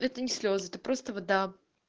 это не слезы это просто вода